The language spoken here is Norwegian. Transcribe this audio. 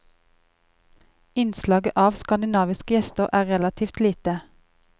Innslaget av skandinaviske gjester er relativt lite.